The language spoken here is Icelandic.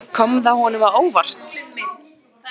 Kom það honum á óvart?